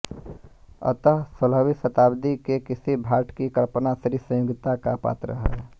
अतः सोलहवीं शतब्दी के किसी भाट की कल्पना थी संयोगिता का पात्र है